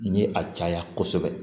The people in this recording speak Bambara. Ni a caya kosɛbɛ